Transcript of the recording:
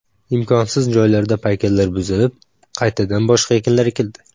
Imkonsiz joylarda paykallar buzilib, qaytadan boshqa ekinlar ekildi.